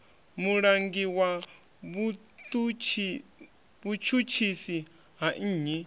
mulangi wa vhutshutshisi ha nnyi